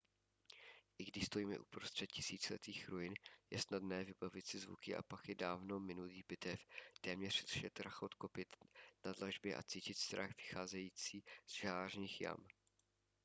i když stojíme uprostřed tisíciletých ruin je snadné vybavit si zvuky a pachy dávno minulých bitev téměř slyšet rachot kopyt na dlažbě a cítit strach vycházející z žalářních jam